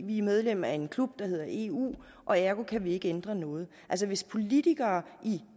vi er medlem af en klub der hedder eu og ergo kan vi ikke ændre noget altså hvis politikere